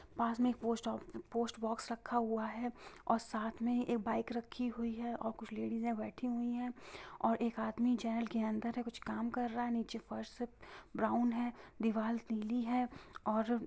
बाजू मे एक पोस्ट ऑफ पोस्ट बॉक्स रखा हूआ है| और साथ मे एक बाइक रखी हुई है और कुछ लेडिज ए बैठी हुई है| और एक आदमी जाईल के अंदर कुछ काम कर रहा है| नीचे फर्श सब ब्राउन है दीवाल पीली है और --